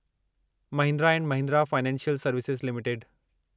Mahindra and Mahindra financial services limited